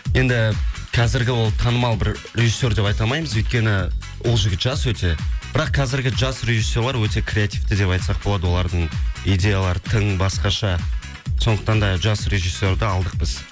енді қазіргі ол танымал бір режиссер деп айталмаймыз өйткені ол жігіт жас өте бірақ қазіргі жас режиссерлар өте креативті деп айтсақ болады олардың идеялары тың басқаша сондықтан да жас режиссерді алдық біз